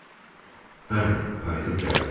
Bəli, qayıdıb gəldim.